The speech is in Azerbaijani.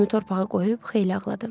Üzümü torpağa qoyub xeyli ağladım.